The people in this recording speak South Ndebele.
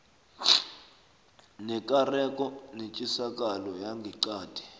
nekareko netjisakalo yangeqadi